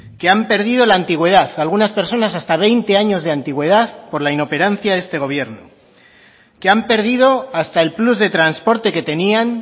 que han perdido la antigüedad algunas personas hasta veinte años de antigüedad por la inoperancia de este gobierno que han perdido hasta el plus de transporte que tenían